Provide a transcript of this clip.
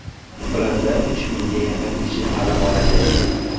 Ularda uch mingga yaqin kishi ta’lim oladi.